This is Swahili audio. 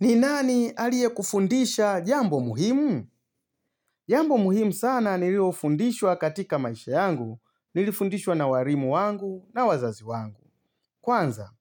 Ni nani aliye kufundisha jambo muhimu? Jambo muhimu sana nililofundishwa katika maisha yangu, nilifundishwa na walimu wangu na wazazi wangu. Kwanza,